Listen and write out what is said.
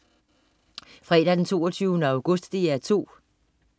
Fredag den 22. august - DR 2: